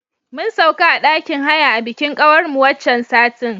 Mun sauka a ɗakin haya a bikin kawar mu waccan satin.